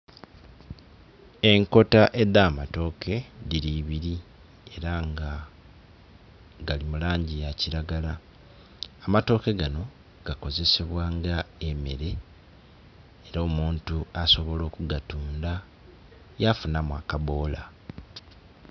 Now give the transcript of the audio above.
Enkoota eda matooke diri ibiri era nga gali mulangi ya kiragala. Amatooke gano gakozesebwa nga emere era omuntu asobola kugatunda yafunamu akaboola